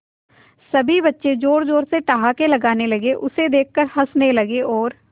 सभी बच्चे जोर जोर से ठहाके लगाने लगे उसे देख कर हंसने लगे और